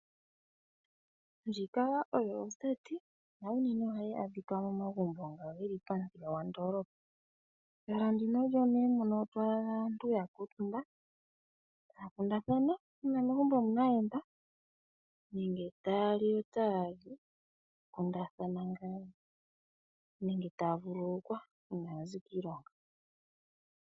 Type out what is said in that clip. Ndjika oyo oseti na unene ohayi adhika momagumbo ngono ge li pamuthika gondoolopa. Omo nduno to adha aantu ya kuutumba taya kundathana uuna megumbo mu na aayenda nenge taya li yo taya kundathana ngaa nenge taya vululukwa uuna ya zi kiilonga.